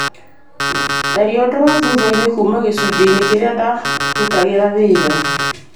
tharia ũndũ wa thutha-inĩ kuuma gĩcunji-inĩ kĩrĩa ndarutagĩra wĩra